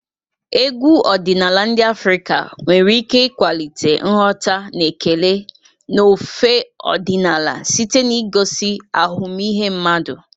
Egwu ọdịnala ndị Afrika nwere ike ịkwalite nghọta na ekele n'ofe ọdịnala site n'igosi ahụmịhe mmadụ.